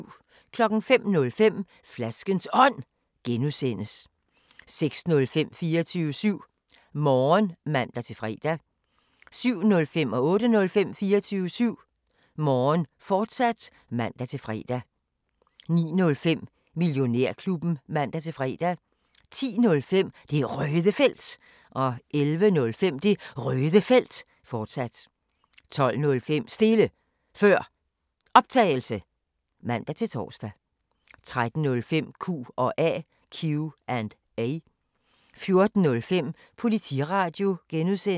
05:05: Flaskens Ånd (G) 06:05: 24syv Morgen (man-fre) 07:05: 24syv Morgen, fortsat (man-fre) 08:05: 24syv Morgen, fortsat (man-fre) 09:05: Millionærklubben (man-fre) 10:05: Det Røde Felt 11:05: Det Røde Felt, fortsat 12:05: Stille Før Optagelse (man-tor) 13:05: Q&A 14:05: Politiradio (G)